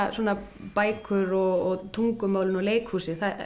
bækur og tungumálin og leikhúsið